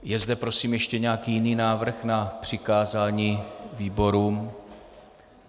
Je zde prosím ještě nějaký jiný návrh na přikázání výborům?